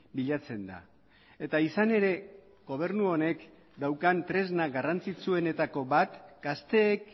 bilatzen da eta izan ere gobernu honek daukan tresna garrantzitsuenetako bat gazteek